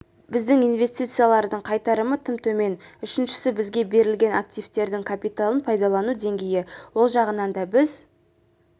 біздің инвестициялардың қайтарымы тым төмен үшіншісі бізге берілген активтердің капиталын пайдалану деңгейі ол жағынан да біз